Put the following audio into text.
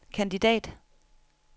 kandidat